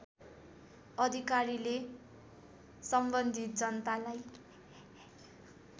अधिकारीले सम्बन्धित जनतालाई